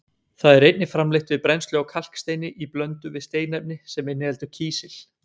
Það er einnig framleitt við brennslu á kalksteini í blöndu við steinefni sem inniheldur kísil.